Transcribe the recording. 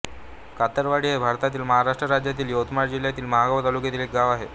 कातरवाडी हे भारतातील महाराष्ट्र राज्यातील यवतमाळ जिल्ह्यातील महागांव तालुक्यातील एक गाव आहे